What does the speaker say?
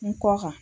N kɔ kan